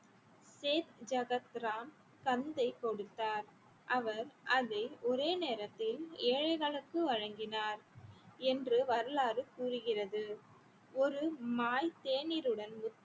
சேத் ஜகத் ராம் சன்தை கொடுத்தார் அவர் அதை ஒரே நேரத்தில் ஏழைகளுக்கு வழங்கினார் என்று வரலாறு கூறுகிறது ஒரு மாய் தேநீருடன்